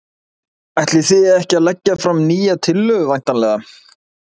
Ætlið þið ekki að leggja fram nýja tillögu væntanlega?